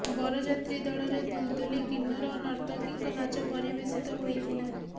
ବରଯାତ୍ରୀ ଦଳରେ ଦୁଲଦୁଲି କିନ୍ନର ଓ ନର୍ତ୍ତକୀଙ୍କ ନାଚ ପରିବେଷିତ ହୋଇଥିଲା